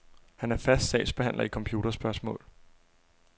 Han er fast sagsbehandler i computerspørgsmål.